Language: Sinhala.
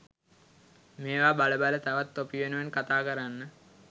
මේවා බල බල තවත් තොපි වෙනුවෙන් කතා කරන්න